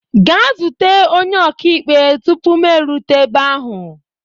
Gaa zute onye ọka ikpe tupu m erute ebe ahụ!